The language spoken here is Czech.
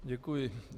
Děkuji.